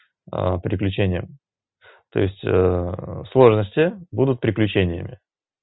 приключения то есть сложности будут приключениями